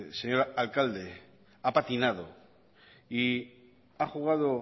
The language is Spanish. señor alcalde ha patinado y ha jugado